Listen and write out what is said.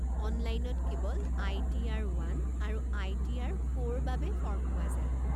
অনলাইনত কেৱল I T R one আৰু আই টি আৰ ফ'ৰ বাবে ফৰ্ম পোৱা যায়।